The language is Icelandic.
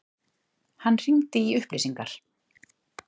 Hann hringdi í upplýsingar.